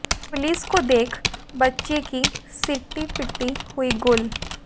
police को देख बच्चे की सिट्टी पिट्टी हुई गुल